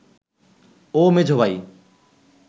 ও মেঝ ভাই